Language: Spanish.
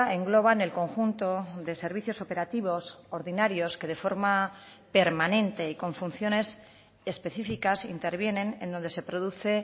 engloban el conjunto de servicios operativos ordinarios que de forma permanente y con funciones específicas intervienen en donde se produce